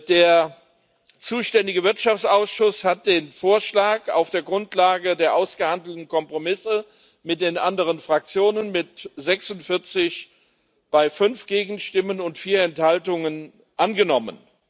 Der zuständige Wirtschaftsausschuss hat den Vorschlag auf der Grundlage der ausgehandelten Kompromisse mit den anderen Fraktionen mit 46 Stimmen bei 5 Gegenstimmen und 4 Enthaltungen angenommen.